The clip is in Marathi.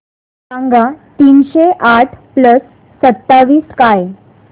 सांगा तीनशे आठ प्लस सत्तावीस काय